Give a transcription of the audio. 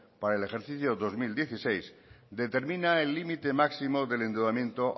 para el ejercicio dos mil dieciséis determina el límite máximo del endeudamiento